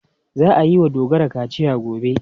Za a yi wa Dogara kaciya gobe.